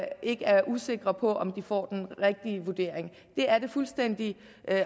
ikke er usikre på om de får den rigtige vurdering det er det fuldstændig